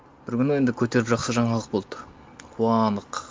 бір күні енді көтеріп жақсы жаңалық болды қуандық